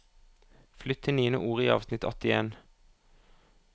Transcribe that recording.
Flytt til niende ord i avsnitt åttien